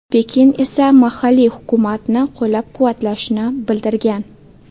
Pekin esa mahalliy hukumatni qo‘llab-quvvatlashini bildirgan.